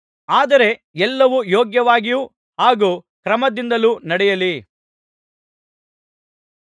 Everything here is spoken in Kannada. ಆದರೆ ಎಲ್ಲವೂ ಯೋಗ್ಯವಾಗಿಯೂ ಹಾಗೂ ಕ್ರಮದಿಂದಲೂ ನಡೆಯಲಿ